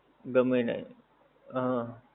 ગમે નહીં હા